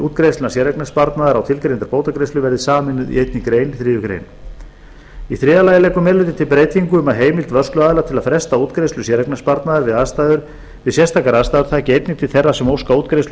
útgreiðslna séreignarsparnaðar á tilgreindar bótagreiðslur verði sameinuð í einni grein þriðju grein þriðju meiri hlutinn leggur til breytingu um að heimild vörsluaðila til að fresta útgreiðslu séreignarsparnaðar við sérstakar aðstæður taki einnig til þeirra sem óska útgreiðslu